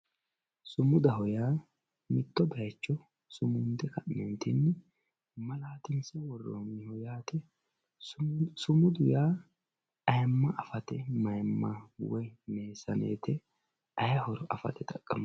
Sumudaho yaa mitto bayicho sumunde ka`ne malatinse woroniho yate sumudu yaa ayiima afate mayiimma afate woyi meesanete ayihoro afate xaqamano.